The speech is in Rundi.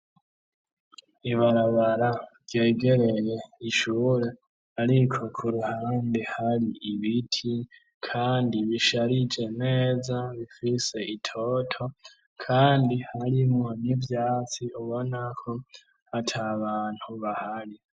Ibarabara ryegereye ishure, ariko kuruhandi hari ibiti, kandi bisharije neza bifise itoto, kandi harimo nivyatsi ubonako hata bantu bahari.